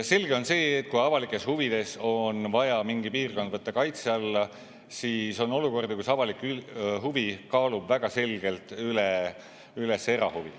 Selge on see, et kui avalikes huvides on vaja mingi piirkond võtta kaitse alla, siis on olukord, kus avalik huvi kaalub väga selgelt üles erahuvi.